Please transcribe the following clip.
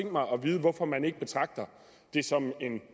mig at vide hvorfor man ikke betragter det som en